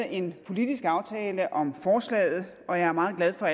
en politisk aftale om forslaget og jeg er meget glad for